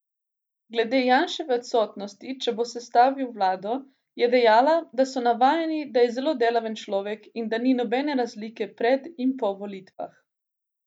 Glede Janševe odsotnosti, če bo sestavil vlado, je dejala, da so navajeni, da je zelo delaven človek in da ni nobene razlike pred in po volitvah.